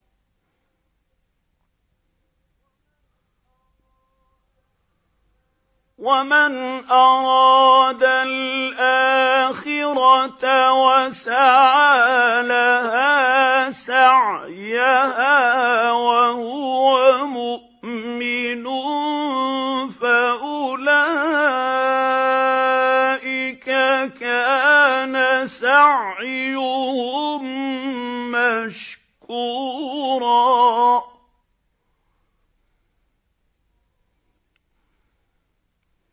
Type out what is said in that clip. وَمَنْ أَرَادَ الْآخِرَةَ وَسَعَىٰ لَهَا سَعْيَهَا وَهُوَ مُؤْمِنٌ فَأُولَٰئِكَ كَانَ سَعْيُهُم مَّشْكُورًا